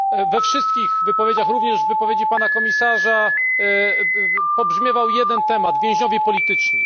We wszystkich wypowiedziach, również w wypowiedzi pana komisarza, pobrzmiewał jeden temat więźniowie polityczni.